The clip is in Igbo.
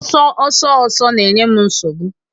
Ọsọ ọsọ ọsọ na-enye m nsogbu